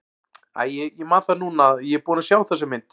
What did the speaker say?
Æi, ég man það núna að ég er búinn að sjá þessa mynd.